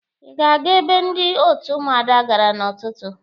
Ị ga-aga ebe ndị òtù Ụmụada gara n'ụtụtụ?